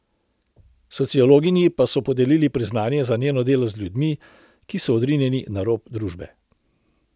Sociologinji pa so podelili priznanje za njeno delo z ljudmi, ki so odrinjeni na rob družbe.